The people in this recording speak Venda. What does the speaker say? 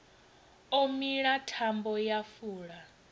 o mila thambo ya fula